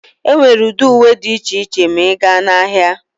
Enwere ụdị uwe dị iche iche ma ịga na ahịa.